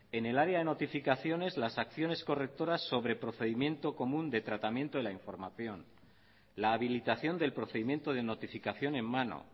en el área de notificaciones las acciones correctoras sobre procedimiento común de tratamiento de la información la habilitación del procedimiento de notificación en mano